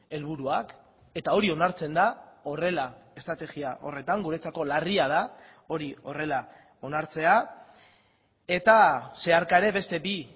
helburuak eta hori onartzen da horrela estrategia horretan guretzako larria da hori horrela onartzea eta zeharka ere beste bi